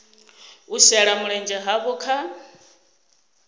u shela mulenzhe havho kha